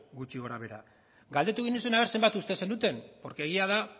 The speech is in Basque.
gutxi gora behera galdetu genizuen ea zenbat uste zenuten porque egia da